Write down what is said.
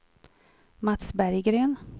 Mats Berggren